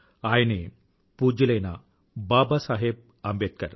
ఆయనే పూజ్యులైన బాబాసాహెబ్ అంబేద్కర్